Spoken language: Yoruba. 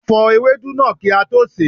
A fò ewedu náà kí a tó sè é.